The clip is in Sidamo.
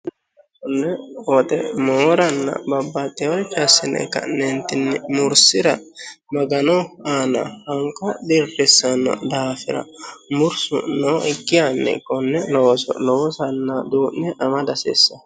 Konne woxe mooranna babbaxxinore assine ka'neentinni mursira magano aana hanka dhirrissanno daafira mursu noo hikki hanni konne lowo sanna duu'ne ama dasisse